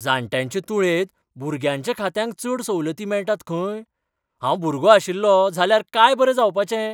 जाण्ट्यांचे तुळेन भुरग्यांच्या खात्यांक चड सवलती मेळटात खंय? हांव भुरगो आशिल्लों जाल्यार काय बरें जावपाचें.